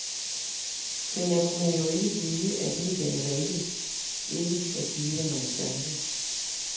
Men jeg kunne jo ikke vide, at medierne valgte ikke at give mig en chance.